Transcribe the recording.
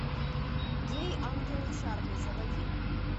гей ангелы чарли заводи